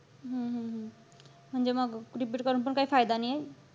हम्म हम्म म्हणजे मग repeat करून पण काही फायदा नाहीये.